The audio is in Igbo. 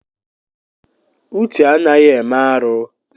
Uche anaghị eme arụ.